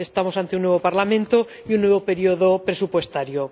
Estamos ante un nuevo Parlamento y un nuevo periodo presupuestario.